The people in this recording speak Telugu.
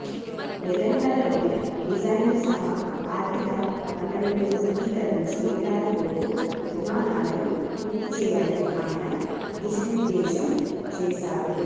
నెలన్నరలోనే డిజైన్లు సహా ఆర్థిక వనరులు సమీకరించి ఏడాదిలోపు నిర్మాణాలను పూర్తి చేయాలని ఆయన దిశానిర్దేశం చేశారు